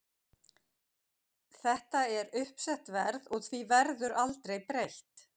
Þetta er uppsett verð og því verður aldrei breytt.